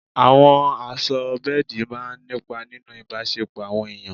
Àwọ̀ aṣọ bẹ́ẹ̀dì máa ń nípa nínú ìbáṣẹpọ̀ àwọn èèyàn.